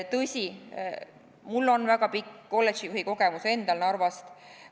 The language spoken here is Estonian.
Tõsi, mul on väga pikk kolledžijuhi kogemus Narvast.